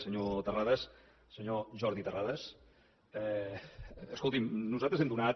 senyor terrades senyor jordi terrades escolti’m nosaltres hem donat